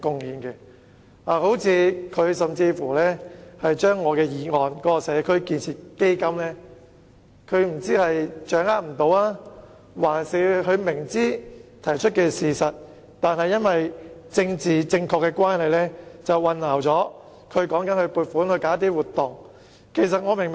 關於我在議案中提出設立"社區建設基金"的建議，我不知他是掌握不到，還是雖然明知我說的是事實，但基於要政治正確，竟將基金與撥款舉辦活動混為一談。